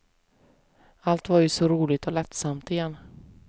Allt var ju så roligt och lättsamt igen.